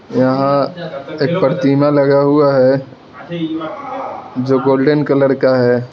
यहां एक प्रतिमा लगा हुआ है जो गोल्डन कलर का है।